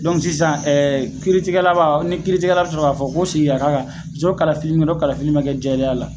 sisan ɛɛ kiritigɛla ba fɔ, ni kiri tijɛla bi sɔrɔ ka fɔ ko segin ka ka kan ko kalafili don kalafili in ma kɛ jɛlenya la.